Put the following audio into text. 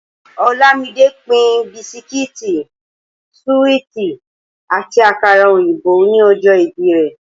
Olámidé pín bisikíìtì, súíìtì àti àkàrà òyìnbó ni ọjọ́ ìbí rẹ̀